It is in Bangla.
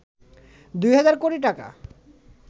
২ হাজার কোটি টাকা